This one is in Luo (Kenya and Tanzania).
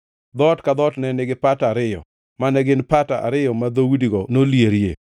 Dhoot ka dhoot ne nigi pata ariyo, mane gin pata ariyo ma dhoudigo nolierie.